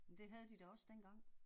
Det havde de da også dengang